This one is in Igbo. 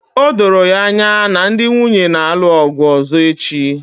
O doro anya na ndị nwunye na-alụ ọgụ ọzọ echi